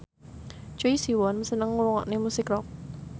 Choi Siwon seneng ngrungokne musik rock